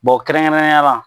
kɛrɛnkɛrɛnnenya la